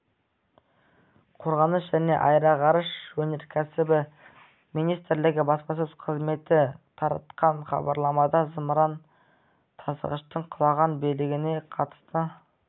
қорғаныс және аэроғарыш өнеркәсібі министрлігі баспасөз қызметі таратқан хабарламада зымыран тасығыштың құлаған бөлігіндегі қатысты